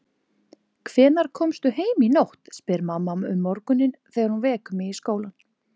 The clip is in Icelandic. Hvenær komstu heim í nótt, spyr mamma um morguninn þegar hún vekur mig í skólann.